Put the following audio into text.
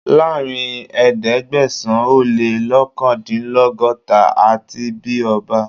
Láàárín ẹ̀ẹ́dẹ́gbẹ̀sán - o-lé-lọ́kàndínlọ́gọ́ta, a ti bí ọba